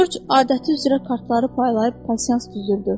Corc adəti üzrə kartları paylayıb pasians düzürdü.